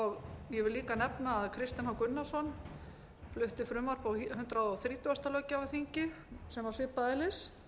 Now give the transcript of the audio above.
ég vil líka nefna að háttvirtur þingmaður kristinn h gunnarsson flutti frumvarp á hundrað þrítugasta löggjafarþingi sem var svipaðs eðlis